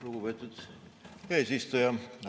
Lugupeetud eesistuja!